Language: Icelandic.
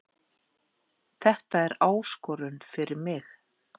Þetta er áskorun fyrir mig